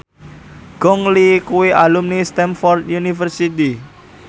Gong Li kuwi alumni Stamford University